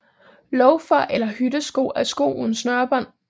Loafer eller hyttesko er sko uden snørebånd